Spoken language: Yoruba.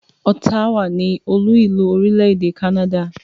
Ottawa ni olú-ìlú orílẹ̀-èdè Canada.